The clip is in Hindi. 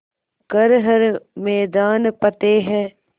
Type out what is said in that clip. कर हर मैदान फ़तेह